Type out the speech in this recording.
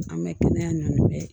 An bɛ kɛnɛya ɲɔ bɛ